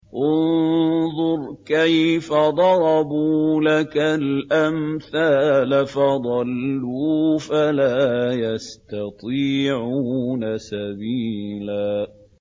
انظُرْ كَيْفَ ضَرَبُوا لَكَ الْأَمْثَالَ فَضَلُّوا فَلَا يَسْتَطِيعُونَ سَبِيلًا